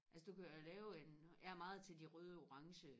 altså du kan jo lave en jeg er meget til de røde og orange